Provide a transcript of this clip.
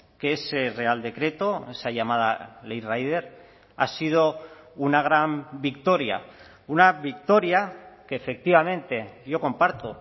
que ese real decreto esa llamada ley rider ha sido una gran victoria una victoria que efectivamente yo comparto